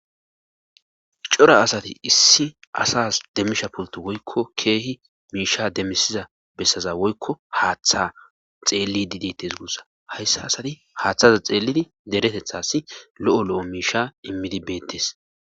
cora asati issi asas demmisha pulti woykko keehi miisha demisiza bessaza woykko haaththa xeelli didittes gussa hayssa asati haaththaza xeellidi deretethassi lo7o lo7o miisha immidi beettes